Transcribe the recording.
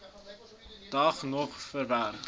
dag nog verwerk